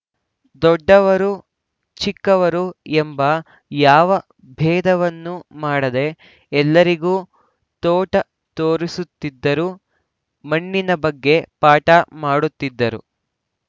ದೊಡ್ಡವರು ಚಿಕ್ಕವರು ಎಂಬ ಯಾವ ಭೇದವನ್ನೂ ಮಾಡದೇ ಎಲ್ಲರಿಗೂ ತೋಟ ತೋರಿಸುತ್ತಿದ್ದರು ಮಣ್ಣಿನ ಬಗ್ಗೆ ಪಾಠ ಮಾಡುತ್ತಿದ್ದರು